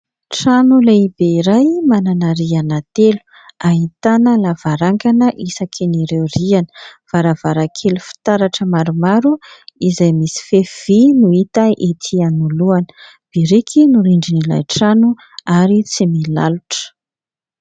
Trano lehibe iray manana rihana telo ahitana lavarangana isakin' ireo rihana, varavaran-kely fitaratra maromaro izay misy fefy vy no hita etỳ anolohana, biriky no rindrin'ilay trano ary tsy milalotra.